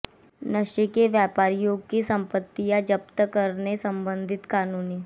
नशे के व्यापारियों की संपत्तियां जब्त करने संबंधी कानून